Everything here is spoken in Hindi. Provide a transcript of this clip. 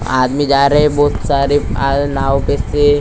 आदमी जा रहे हैं बहुत सारे आव नाव पे से।